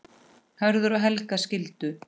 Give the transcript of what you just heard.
Hörður og Helga skildu.